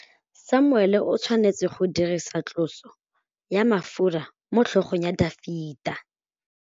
Samuele o tshwanetse go dirisa tlotsô ya mafura motlhôgong ya Dafita.